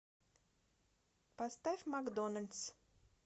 поставь макдоналдс